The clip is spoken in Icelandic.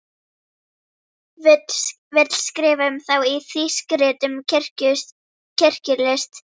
Vill skrifa um þá í þýsk rit um kirkjulist.